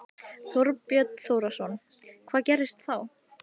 Þorbjörn Þórðarson: Hvað gerist þá?